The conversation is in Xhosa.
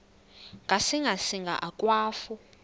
ngasinga singa akwafu